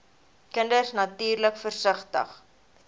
kinders natuurlik versigtig